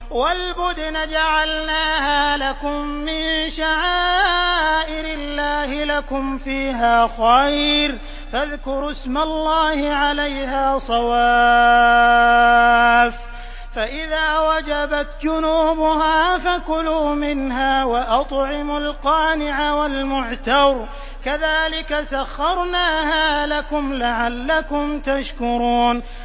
وَالْبُدْنَ جَعَلْنَاهَا لَكُم مِّن شَعَائِرِ اللَّهِ لَكُمْ فِيهَا خَيْرٌ ۖ فَاذْكُرُوا اسْمَ اللَّهِ عَلَيْهَا صَوَافَّ ۖ فَإِذَا وَجَبَتْ جُنُوبُهَا فَكُلُوا مِنْهَا وَأَطْعِمُوا الْقَانِعَ وَالْمُعْتَرَّ ۚ كَذَٰلِكَ سَخَّرْنَاهَا لَكُمْ لَعَلَّكُمْ تَشْكُرُونَ